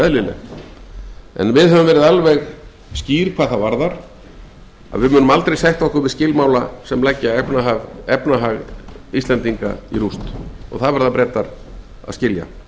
en íslensk stjórnvöld hafa verið alveg skýr hvað það varðar að við munum aldrei sætta okkur við skilmála sem leggja okkar efnahag í rúst það verða bretar að skilja hæstvirtur